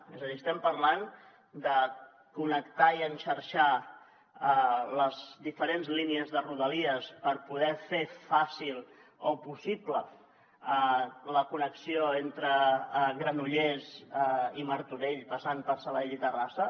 és a dir estem parlant de connectar i enxarxar les diferents línies de rodalies per poder fer fàcil o possible la connexió entre granollers i martorell passant per sabadell i terrassa